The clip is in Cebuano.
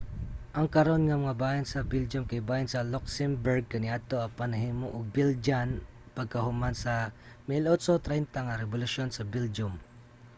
ang karon nga mga bahin sa belgium kay bahin sa luxembourg kaniadto apan nahimo nga belgian pagkahuman sa 1830s nga rebolusyon sa belgium